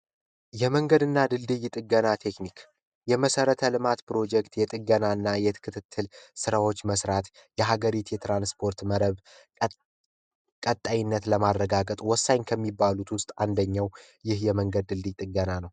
የመንገድ እና ቂጥኝ ጥገና ቴክኒክ የመሠረተ ልማት ፕሮጀክት የጥገናና ስራዎች መስራት የሀገሪቱ የትራንስፖርት መረብ ቀጣይነት ለማረጋገጥ ወሳኝ ከሚባሉት ውስጥ አንደኛው ይህ የመንገድ ድልድይ ጥገና ነው።